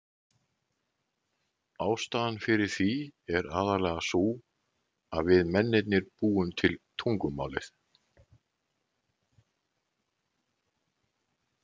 Ástæðan fyrir því er aðallega sú að við mennirnir búum til tungumálið.